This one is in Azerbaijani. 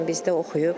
Ləman bizdə oxuyub.